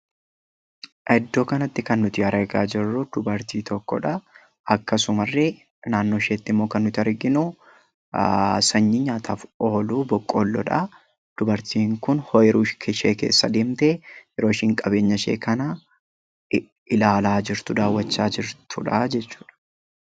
Iddoo kanatti kan nuti argaa jirru dubartii tokkodha. Akkasumallee naannoo isheetti kan nuti arginu sanyii nyaataaf oolu boqqoolloodha. Dubartiin kun ooyiruu ishee keessa deemtee yeroo isheen qabeenya ishee kana ilaalaa jirtu daawwachaa jirtudha jechuudha.